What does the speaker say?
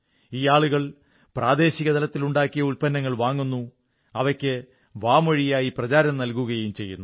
ഈ ആളുകൾ പ്രാദേശികതലത്തിൽ ഉണ്ടാക്കിയ ഉത്പന്നങ്ങൾ വാങ്ങുന്നു അവയ്ക്ക് വാമൊഴിയായി പ്രചാരം നൽകുകയും ചെയ്യുന്നു